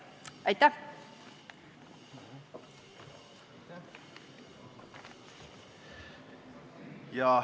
Aitäh!